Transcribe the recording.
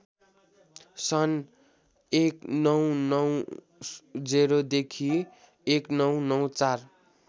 सन् १९९० देखि १९९४